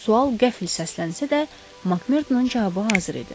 Sual qəfil səslənsə də Makmerdonun cavabı hazır idi.